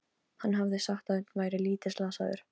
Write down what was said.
Hann hafði sagt að Örn væri lítið slasaður.